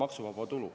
Aitäh!